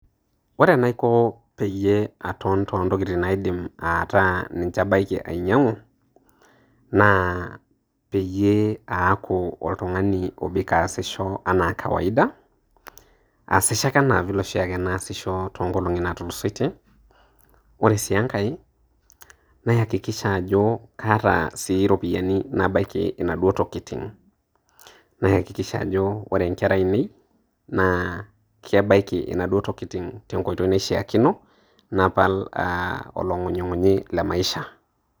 Ore enaiko peiyie aton too ntokitin naidim ataa aidim ninche ainyang'u naa peyie aaku oltang'ani obik aasisho ana kawaida, aasisho ake ana vile oshaake naasisho toong'olongi naatulusoitie. Ore sii enkai naihakikisha ajo kaata sii iropiani nabaiki naduo tokitin. Naihakikisha ajo ore inkera aainei naa kebaiki naduo tokitin te nkoitoi naishakino napal oloing'ung'unyi Le maisha